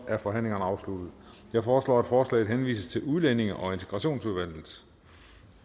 er forhandlingen afsluttet jeg foreslår at forslaget henvises til udlændinge og integrationsudvalget